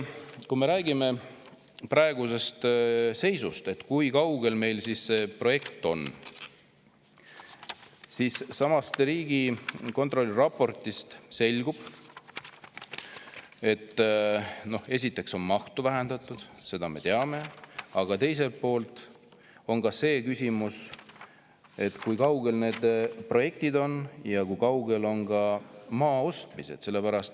Kui me räägime praegusest seisust, sellest, kui kaugel meil see projekt on, siis siitsamast Riigikontrolli raportist selgub, et esiteks on mahtu vähendatud – seda me teame –, aga teiselt poolt on see küsimus, kui kaugel need projektid on ja kui kaugel on maaostmised.